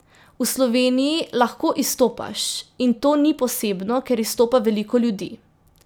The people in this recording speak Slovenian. V Sloveniji lahko izstopaš in to ni posebno, ker izstopa veliko ljudi.